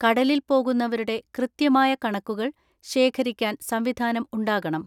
കടലിൽ പോകുന്നവരുടെ കൃത്യമായ കണക്കുകൾ ശേഖരിക്കാൻ സംവിധാനം ഉണ്ടാകണം.